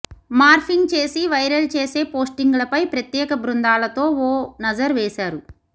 morphing చేసి viral చేసే పోస్టింగ్లపై ప్రత్యేక బృందాలతో ఓ నజర్ వేశారు